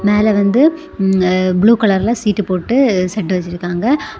மேல வந்து um uh blue கலர்ல சீட்டு போட்டு செட்டு வச்சிருக்காங்க.